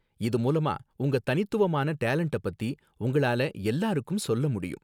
இது மூலமா உங்க தனித்துவமான டேலண்ட்ட பத்தி உங்களால எல்லாருக்கும் சொல்ல முடியும்